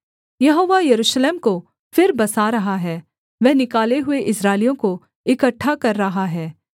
यहोवा यरूशलेम को फिर बसा रहा है वह निकाले हुए इस्राएलियों को इकट्ठा कर रहा है